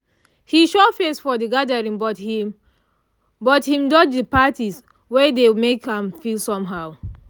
he show face for the gathering but him but him dodge the parts wey dey make am feel somehow